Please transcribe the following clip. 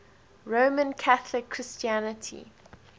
roman catholic christianity